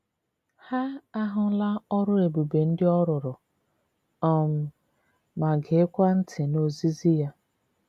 Ha ahụla ọrụ ebube ndị ọ rụrụ, um ma geekwa ntị n’ozizi ya.